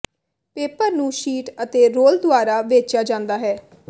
paper ਨੂੰ sheet ਅਤੇ roll ਦੁਆਰਾ ਵੇਚਿਆ ਜਾਂਦਾ ਹੈ